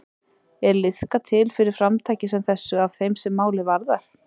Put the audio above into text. Er liðkað til fyrir framtaki sem þessu af þeim sem málið varðar?